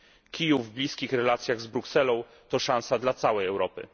Kijów w bliskich relacjach z Brukselą to szansa dla całej Europy.